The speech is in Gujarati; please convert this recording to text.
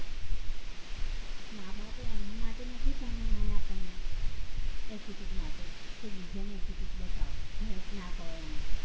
માં-બાપે એના માટે નથી ભણાયા આપણને attitude માટે કે બીજાને attitude બતાવો, help ના કરો એને